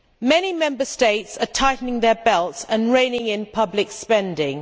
Many Member States are tightening their belts and reining in public spending.